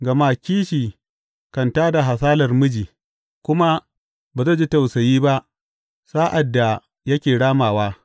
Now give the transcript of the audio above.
Gama kishi kan tā da hasalar miji, kuma ba zai ji tausayi ba sa’ad da yake ramawa.